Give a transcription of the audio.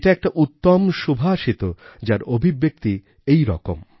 এটা একটা উত্তম সুভাষিত যার অভিব্যক্তি এইরকম